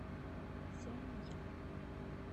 сяньян